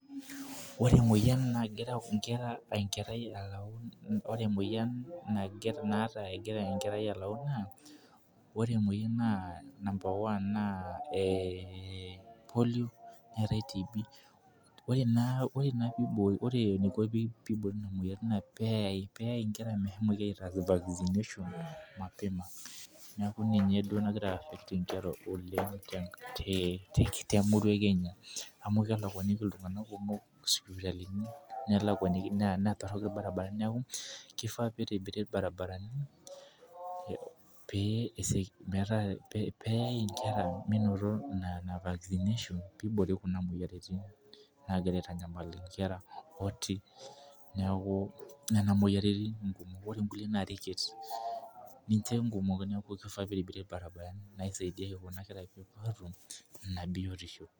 Ore emoyian naa ta egira enkerai alafu . Naa ore emouyu number one neetae tb. Ore, naa peeiboori Nena moyiaritin naa peeyaw nkera meshomoki aitaas vaccination .neeku ninye duo nagira atum nkera oleng temurua e Kenya. Neeku kifaa nitobiri ilbarinarani pee, eyae nkera menoto ina vaccination pee iboori Kuna moyiaritin naagira aotamuoi nkera. ooti. neeku Nena moyiaritin. neeku kifaa nitobiri ilbarinarani pee eret te biotisho.